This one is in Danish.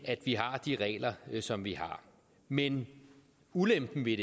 at vi har de regler som vi har men ulempen ved